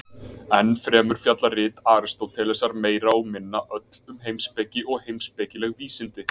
Enn fremur fjalla rit Aristótelesar meira og minna öll um heimspeki og heimspekileg vísindi.